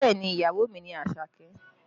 Bẹẹ ni, ìyàwó mi ni Àṣàkẹ́?